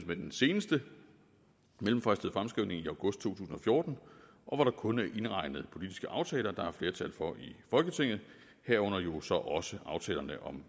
med den seneste mellemfristede fremskrivning i august to tusind og fjorten og hvor der kun er indregnet politiske aftaler der er flertal for i folketinget herunder jo så også aftalerne om